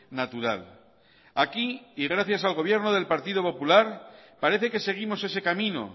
natural aquí y gracias al gobierno del partido popular parece que seguimos ese camino